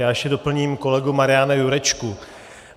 Já ještě doplním kolegu Mariana Jurečku.